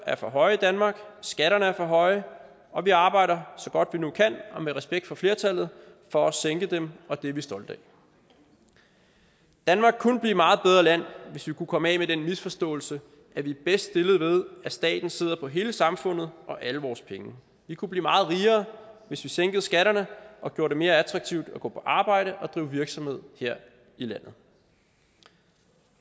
er for høje i danmark skatterne er for høje og vi arbejder så godt vi nu kan og med respekt for flertallet for at sænke dem og det er vi stolte af danmark kunne blive et meget bedre land hvis vi kunne komme af med den misforståelse at vi er bedst stillet ved at staten sidder på hele samfundet og alle vores penge vi kunne blive meget rigere hvis vi sænkede skatterne og gjorde det mere attraktivt at gå på arbejde og drive virksomhed her i landet